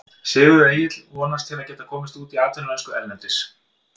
Sigurður Egill vonast til að geta komist út í atvinnumennsku erlendis.